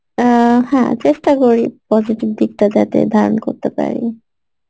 অ্যাঁ হ্যাঁ চেষ্টা করি positive দিকটা যাতে ধারণ করতে পারি